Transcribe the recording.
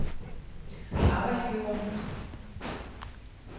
arbejdsgivere